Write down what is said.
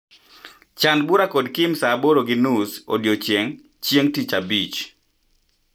Chan bura kod Kim saaaboro gi nus odiechieng' chieng' tich abich.